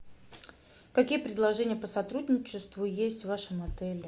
какие предложения по сотрудничеству есть в вашем отеле